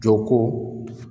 Jɔ ko